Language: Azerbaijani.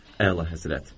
Əla həzrət.